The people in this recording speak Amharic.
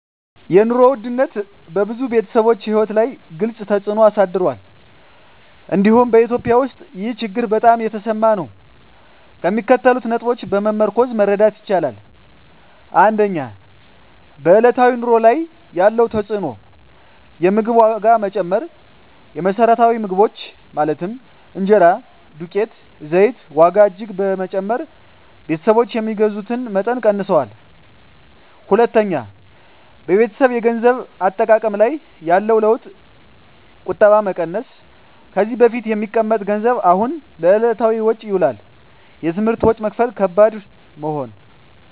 የኑሮ ውድነት በብዙ ቤተሰቦች ሕይወት ላይ ግልፅ ተፅዕኖ አሳድሯል፤ እንዲሁም በEthiopia ውስጥ ይህ ችግር በጣም የተሰማ ነው። ከሚከተሉት ነጥቦች በመመርኮዝ መረዳት ይቻላል፦ 1. በዕለታዊ ኑሮ ላይ ያለው ተፅዕኖ የምግብ ዋጋ መጨመር: የመሰረታዊ ምግቦች (እንጀራ፣ ዱቄት፣ ዘይት) ዋጋ እጅግ በመጨመር ቤተሰቦች የሚገዙትን መጠን ቀንሰዋል። 2. በቤተሰብ የገንዘብ አጠቃቀም ላይ ያለው ለውጥ ቁጠባ መቀነስ: ከዚህ በፊት የሚቀመጥ ገንዘብ አሁን ለዕለታዊ ወጪ ይውላል። የትምህርት ወጪ መክፈል ከባድ መሆን